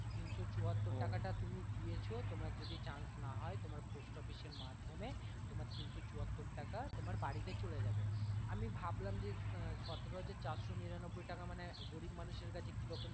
তিনশো চুয়াত্তর টাকা টা যে তুমি দিয়েছো তোমার যদি chance না হয় তোমার post office এর মাধ্যমে তোমার তিনশো চুয়াত্তর টাকা তোমার বাড়িতে চলে যাবে আমি ভাবলাম যে সতেরো হাজার চারশো নিরানব্বই টাকা মানে গরিব মানুষের কাছে কীরকম